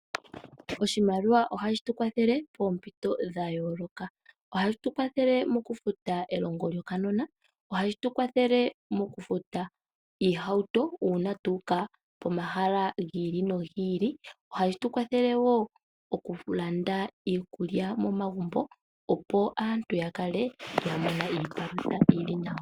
Oshimaliwa ohashi kwathele moompito dha yooloka ,ohashi kwathele okufuta elongo lyokanona oshi kwathele okufuta iihauto uuna tuuka pomahala gi ili nogi ili ohashi kwathele wo okulanda iipumbiwa momagumbo opo aantu ya kale yena iipalutha yili nawa.